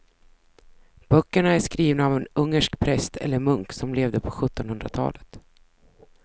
Böckerna är skrivna av en ungersk präst eller munk som levde på sjuttonhundratalet.